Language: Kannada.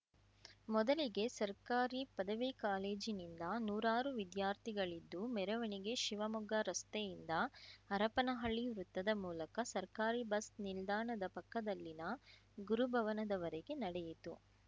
ಮೊದಲಿಗೆ ಸರ್ಕಾರಿ ಪದವಿ ಕಾಲೇಜಿನಿಂದ ನೂರಾರು ವಿದ್ಯಾರ್ಥಿಗಳಿದ್ದು ಮೆರವಣಿಗೆ ಶಿವಮೊಗ್ಗ ರಸ್ತೆಯಿಂದ ಹರಪನಹಳ್ಳಿ ವೃತ್ತದ ಮೂಲಕ ಸರ್ಕಾರಿ ಬಸ್‌ ನಿಲ್ದಾಣದ ಪಕ್ಕದಲ್ಲಿನ ಗುರುಭವನದವರೆಗೆ ನಡೆಯಿತು